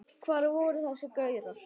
Hvar voru þessir gaurar?